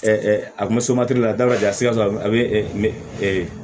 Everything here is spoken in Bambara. a kunsamado la a da ka di a sikaso a bɛ